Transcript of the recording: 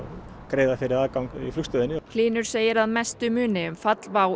greiða fyrir aðgang að flugstöðinni hlynur segir að mestu muni um fall WOW